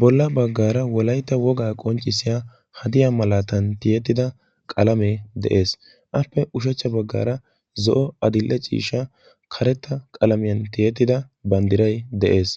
bolla baggaara wolaita wogaa qonccissiya hadiya malaatan tiyettida qalamee de7ees. appe ushachcha baggaara zo7o adille ciisha karetta qalamiyan tiyettida banddirai de7ees.